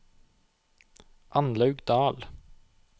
Annlaug Dahl